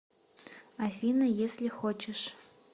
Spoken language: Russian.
афина если хочешь